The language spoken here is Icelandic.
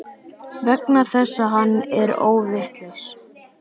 Vegna þess að hann er óvitlaus.